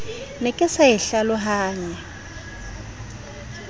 ne ke sa e hlalohanye